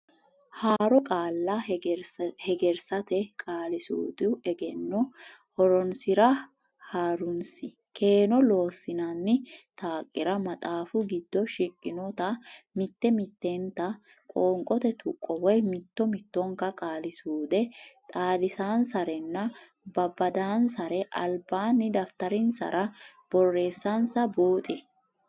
Haaro Qaalla Hegersate Qaali suudu Egenno Horonsi ra Ha runsi keeno Loossinanni taqira maxaafu giddo shiqqinota mitte mittenta qoonqote tuqqo woy mitto mittonka qaali suude xaadisansaranna babbadansara albaanni dafitarinsara borreessansa buuxi.